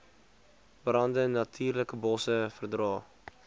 brande natuurlikebosse verdra